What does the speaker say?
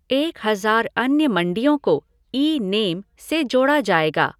एक हजार अन्य मंडियों को ई नेम से जोड़ा जाएगा।